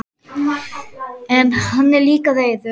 En hann er líka reiður.